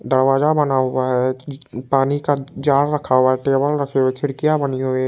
दरवाजा बना हुआ है। एक ई पानी का जार रखा हुआ है। टेबल रखी हुई है खिड़किया बनी हुई है।